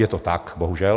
Je to tak, bohužel.